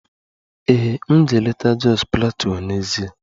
Ee, m ga-eleta Jos Plateau n'ezie